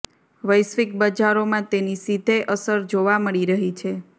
વૈશ્વિક બજારોમાં તેની સીધે અસર જોવા મળી રહી છે